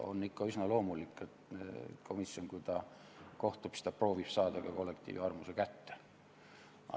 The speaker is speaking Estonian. On üsna loomulik, et komisjon proovib saada ka kollektiivi arvamuse kätte.